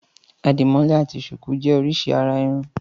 Àdìmọ́lẹ̀ àti ṣùkú jẹ́ oríṣi àrà-irun.